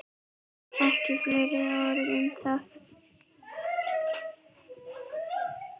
Ekki fleiri orð um það!